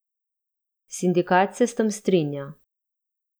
Sindikat se s tem strinja.